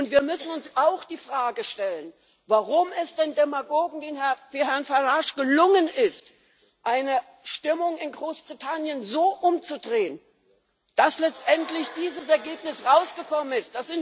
Und wir müssen uns auch die Frage stellen, warum es den Demagogen wie Herrn Farage gelungen ist, eine Stimmung in Großbritannien so umzudrehen, dass letztendlich dieses Ergebnis herausgekommen ist.